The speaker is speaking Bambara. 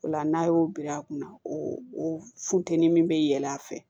O la n'a y'o bil'a kunna o o funtɛni min bɛ yɛlɛ a fɛ